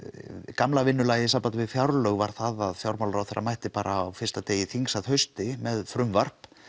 gamla vinnulagið í sambandi við fjárlög var að fjármálaráðherra mætti bara á fyrsta degi þings að hausti með frumvarp